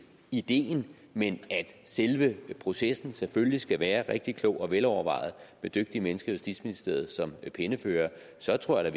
ideen men at selve processen selvfølgelig skal være rigtig klog og velovervejet med dygtige mennesker i justitsministeriet som penneførere så tror jeg